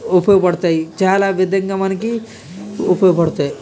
ఉపయోగపడతాయి చాలా విధంగా మనకి ఉపయోగపడతాయి.